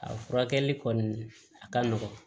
A furakɛli kɔni a ka nɔgɔn